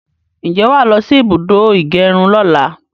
Ǹjẹ́ wàá lọsí ibùdó ìgẹrun lọ́la?